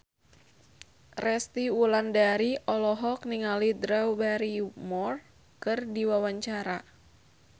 Resty Wulandari olohok ningali Drew Barrymore keur diwawancara